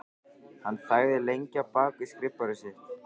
Hann þagði lengi á bak við skrifborðið sitt.